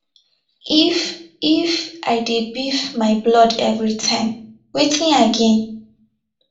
if if i dey beef my blood everytime wetin i gain